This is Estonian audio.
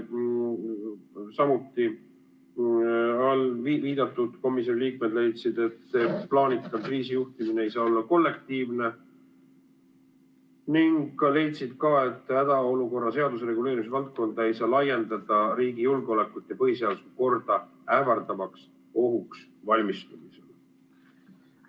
Samuti leidsid eelviidatud komisjoni liikmed, et plaanitav kriisijuhtimine ei saa olla kollektiivne ning hädaolukorra seaduse reguleerimisvaldkonda ei saa laiendada riigi julgeolekut ja põhiseaduslikku korda ähvardavaks ohuks valmistumisele.